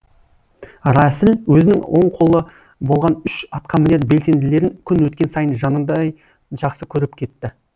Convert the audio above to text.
рәсіл өзінің оң қолы болған үш атқа мінер белсенділерін күн өткен сайын жанындай жақсы көріп кетті